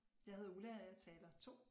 Jeg hedder Ulla og er taler 2